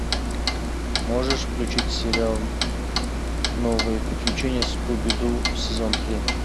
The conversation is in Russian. можешь включить сериал новые приключения скуби ду сезон три